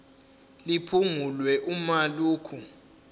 liphungulwe uma lokhu